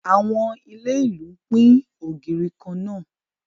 Àwọn ilé ìlú ń pín ògiri kan náà